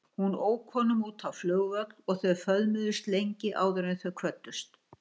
Hún ók honum út á flugvöll og þau föðmuðust lengi áður en þau kvöddust.